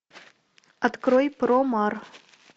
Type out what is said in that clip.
открой промар